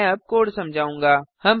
मैं अब कोड समझाऊंगा